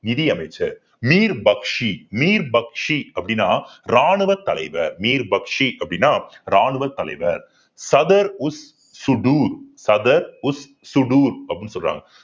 நிதி அமைச்சர் அப்படின்னா ராணுவத் தலைவர் அப்படின்னா ராணுவத் தலைவர் சதர் உஸ் சூடு சதர் உஸ் சூடு அப்பிடின்னு சொல்றாங்க